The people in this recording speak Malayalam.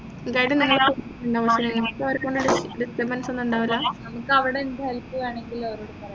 guide നിങ്ങളെ നിങ്ങക്കവരെകൊണ്ട് disturbance ഒന്നും ഇണ്ടാവൂല നിങ്ങക്ക് അവിടെ എന്ത് help വേണെങ്കിലും അവരോട് പറയാം